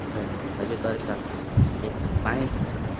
इधर हरे कलर का एक पाइप है।